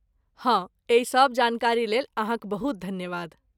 हँ, एहि सब जानकारीलेल अहाँक बहुत धन्यवाद।